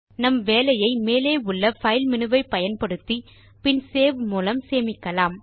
நம் வேலையை மேலே உள்ள பைல் மேனு ஐ பயன்படுத்தி பின் சேவ் மூலம் சேமிக்கலாம்